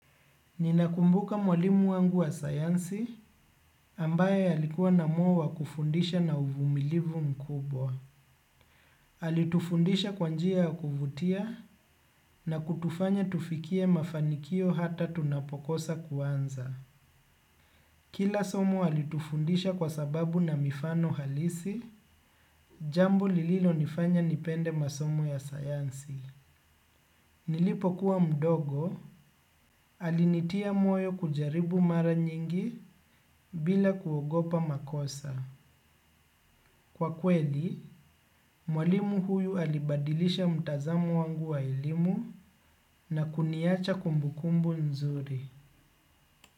Ninakumbuka mwalimu wangu wa sayansi ambaye alikuwa na moyo wa wa kufundisha na uvumilivu mkubwa. Alitufundisha kwa njia ya kuvutia na kutufanya tufikie mafanikio hata tunapokosa kuanza. Kila somo alitufundisha kwa sababu na mifano halisi, jambo lililo nifanya nipende masomo ya sayansi. Nilipokuwa mdogo, alinitia moyo kujaribu mara nyingi bila kuogopa makosa. Kwa kweli, mwalimu huyu alibadilisha mtazamo wangu wa elimu na kuniacha kumbukumbu nzuri.